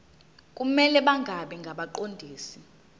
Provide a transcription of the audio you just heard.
kumele bangabi ngabaqondisi